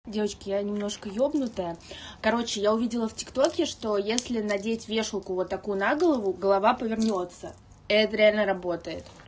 девочки я немножко ёбнутая короче я увидела в тиктоке что если надеть вешалку вот такую на голову голова повернётся это реально работает